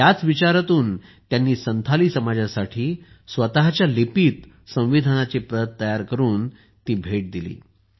याच विचारातून त्यांनी संथाली समाजासाठी स्वतःच्या लिपीत संविधानाची प्रत तयार करून ती भेट दिली